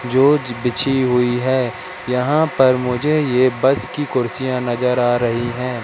जो ज बिछी हुईं हैं यहां पर मुझे ये बस की कुर्सियां नजर आ रहीं हैं।